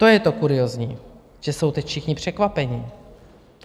To je to kuriózní, že jsou teď všichni překvapeni.